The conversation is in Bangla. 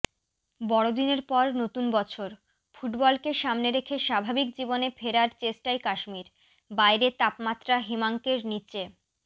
বড়দিনের পর নতুন বছর ফুটবলকে সামনে রেখে স্বাভাবিক জীবনে ফেরার চেষ্টায় কাশ্মীর বাইরে তাপমাত্রা হিমাঙ্কের নিচে